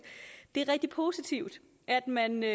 det er rigtig positivt at man med